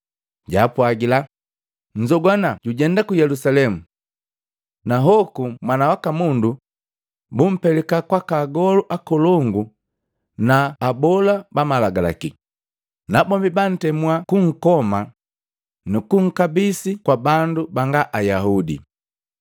Japwagila, “Nzogwana tujenda ku Yelusalemu. Na hoku Mwana waka Mundu bumpelika kwaka agolu akolongu na abola bamalagalaki, nabombi bantemua kunkoma nukunkabisi kwa bandu banga Ayaudi.